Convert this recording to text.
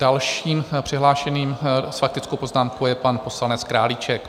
Dalším přihlášeným s faktickou poznámkou je pan poslanec Králíček.